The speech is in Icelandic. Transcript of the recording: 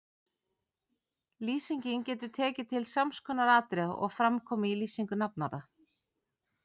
Lýsingin getur tekið til sams konar atriða og fram koma í lýsingu nafnorða